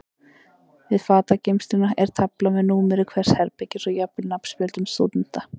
Við fatageymsluna er tafla með númeri hvers herbergis og jafnvel nafnspjöldum stúdenta.